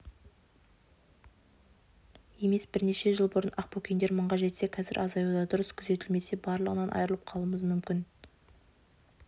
емес бірнеше жыл бұрын ақбөкендер мыңға жетсе қазір азаюда дұрыс күзетілмесе барлығынан айырылып қалуымыз мүмкін